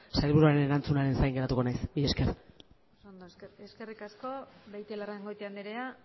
sailburuaren erantzunaren zain geratuko naiz mila esker oso ondo eskerrik asko beitialarrangoitia andrea